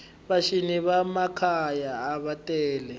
va cini va makhwaya ava tele